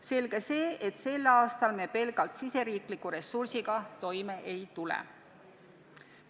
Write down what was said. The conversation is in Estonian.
Selge see, et sel aastal me pelgalt riigisisese ressursiga toime ei tule.